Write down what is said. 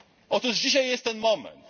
Otóż dzisiaj jest ten moment.